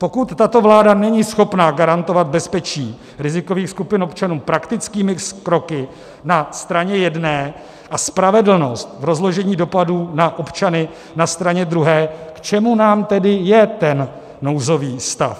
Pokud tato vláda není schopna garantovat bezpečí rizikových skupin občanů praktickými kroky na straně jedné a spravedlnost v rozložení dopadů na občany na straně druhé, k čemu nám tedy je ten nouzový stav?